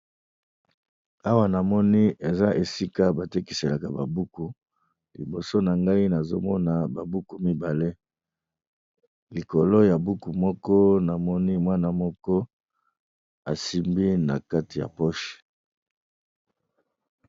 Awa na moni eza esika ba tekiselaka ba buku liboso na ngai nazo mona ba buku mibale, likolo ya buku moko na moni mwana moko asimbi na kati ya poche.